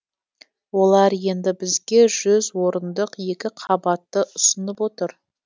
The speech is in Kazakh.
олар енді бізге жүз орындық екі қабатты ұсынып отыр